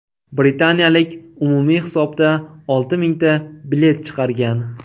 Britaniyalik umumiy hisobda olti mingta bilet chiqargan.